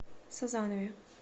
сазанове